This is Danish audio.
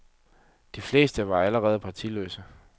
De fleste var alligevel partiløse.